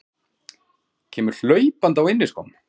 Kemur hlaupandi á inniskóm.